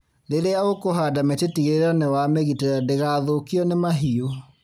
Rĩrĩa ũkũhanda mĩtĩ tigĩrĩra nĩ wa mĩgitĩra ndĩgathũkio ni mahiũ.